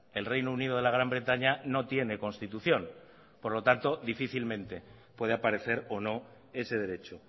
el reino unido de la gran bretaña no tiene constitución por lo tanto difícilmente puede aparecer o no ese derecho